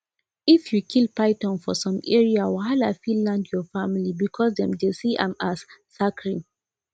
if you kill python for some area wahala fit land your family because dem see am as sacred